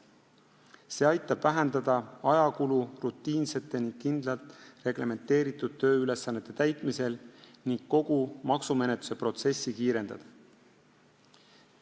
See aitab vähendada ajakulu rutiinsete ja kindlalt reglementeeritud tööülesannete täitmisel ning kogu maksumenetluse protsessi kiirendada.